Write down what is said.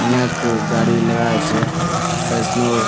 অনেক গাড়ি লাগা আছে ফেশনোর --